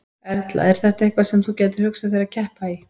Erla: Er þetta eitthvað sem þú gætir hugsað þér að keppa í?